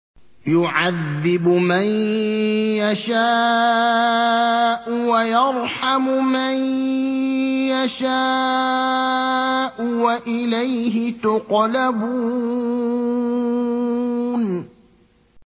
يُعَذِّبُ مَن يَشَاءُ وَيَرْحَمُ مَن يَشَاءُ ۖ وَإِلَيْهِ تُقْلَبُونَ